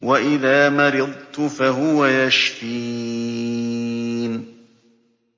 وَإِذَا مَرِضْتُ فَهُوَ يَشْفِينِ